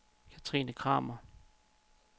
Kathrine Kramer